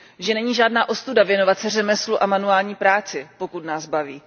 Že není žádná ostuda věnovat se řemeslu a manuální práci, pokud nás baví.